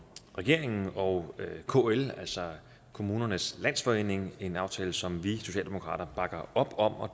regeringen og kl altså kommunernes landsforening en aftale som vi i socialdemokratiet bakker op om